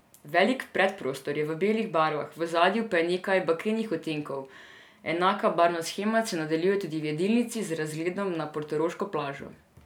Velik predprostor je v belih barvah, v ozadju pa je nekaj bakrenih odtenkov, enaka barvna shema se nadaljuje tudi v jedilnici z razgledom na portoroško plažo.